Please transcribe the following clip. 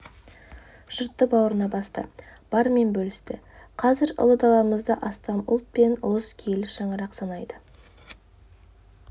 жұртты бауырына басты барымен бөлісті қазір ұлы даламызды астам ұлт пен ұлыс киелі шаңырақ санайды